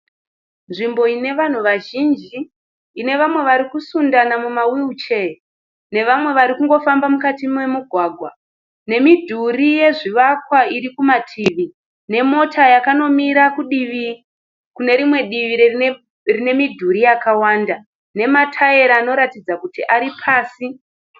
Nzvimbo ine vanhu vazhinji. Ine vamwe varikusundana muma wiruchee. Ne vamwe vari kungofamba mumugwagwa. Nemidhuri yezvivakwa iri kumativi, nemota yakanomira kune rimwe divi rine midhuri yakawanda. Nemataira anoratidza kuti ari pasi.